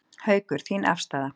Haukur: Þín afstaða?